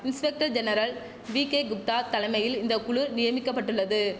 inspector general V K Gupta தலமையில் இந்த குழு நியமிக்கப்பட்டுள்ளது